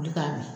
Wuli k'a di